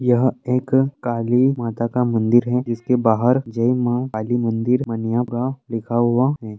यह एक काली माता का मंदिर है इसके बाहर जय माँ काली मंदिर लिखा हुआ है।